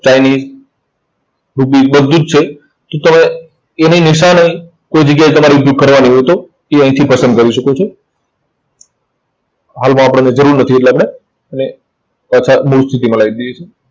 Chinese rupees બધું જ છે. તો તમે એની નિશાની કોઈ જગ્યાએ તમારે કરવાની હોય તો તે અહીંથી પસંદ કરી શકો છો. હાલમાં આપણાને જરૂર નથી એટલે આપણે એને પાછા મૂળ સ્થિતિમાં લાવી દઈએ છે.